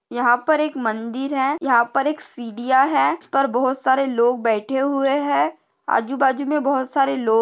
यहा पर एक मंदिर है यहा पर एक सिडिया है जिस पर बहुत सारे लोग बैठे हुए है आजूबाजू मे बहुत सारे लो--